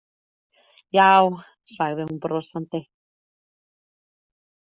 Já, sagði hún brosandi.